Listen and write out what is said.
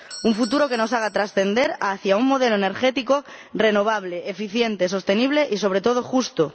un futuro que nos haga trascender hacia un modelo energético renovable eficiente, sostenible y, sobre todo, justo.